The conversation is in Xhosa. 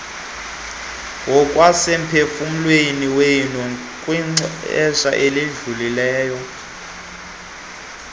ngokwasemphefumlweni kwixesha elidlulileyo